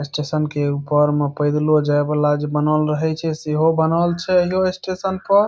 Station के ऊपर म पैदलो जाये वाला जे बनल रहे छे सेहो बनल छे ऐहो स्टेशन पर।